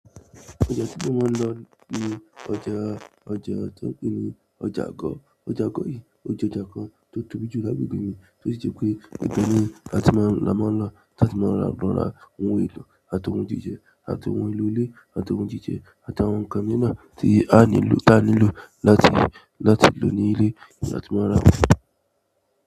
Ọjà tí mo máa ń lọ ní ọjà, ọjà tí wọ́n ń pè ní ọjà Agọ̀. Ọjà Agọ̀ yìí, o jẹ́ ọjà kan tó tóbi jù lágbegbe mí, tó sì ṣe pé ẹgbẹ́ ni a ti máa ń lọ, láti máa ra lora ohun èlò àti ohun jíjẹ, àti ohun èlò ilé, àti ohun jíjẹ, àti àwọn nǹkan nína tí a nílò láti lọ ní ilé ni a ti máa ra wọ́n.